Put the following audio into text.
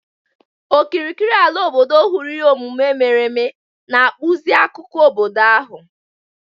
Okirikiri ala obodo hụrụ ihe omume mere eme, na-akpụzi akụkọ obodo ahụ.